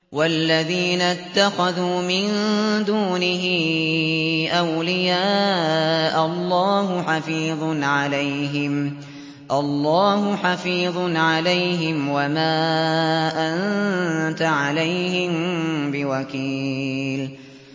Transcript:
وَالَّذِينَ اتَّخَذُوا مِن دُونِهِ أَوْلِيَاءَ اللَّهُ حَفِيظٌ عَلَيْهِمْ وَمَا أَنتَ عَلَيْهِم بِوَكِيلٍ